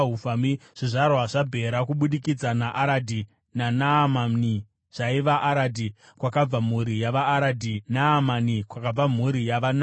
Zvizvarwa zvaBhera kubudikidza naAradhi naNaamani zvaiva: Aradhi, kwakabva mhuri yavaAradhi; Naamani, kwakabva mhuri yavaNaamani.